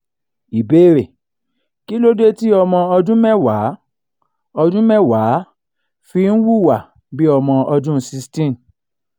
qibere kí ló dé tí ọmọ ọdún mẹ́wàá ọdún mẹ́wàá fi ń wuwà bí ọmọ ọdún 16?